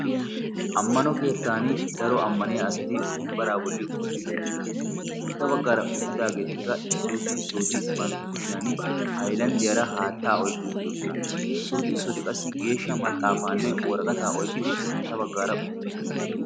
Ammano keettan daro ammaniya asati wombbaraa bolli utti uttidosona. Sintta baggaara uttidaageetikka issooti issooti bantta kushiyan haylanddiyaara haattaa oyqqi uttidosona issooti issooti qassi geeshsha maxaafaanne woragataa oiqqidi sintta baggaara uttidosona.